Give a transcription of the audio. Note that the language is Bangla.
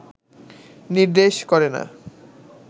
নির্দেশ করে না